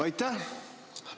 Aitäh!